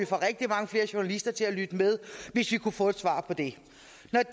få rigtig mange flere journalister til at lytte med hvis vi kunne få svar på det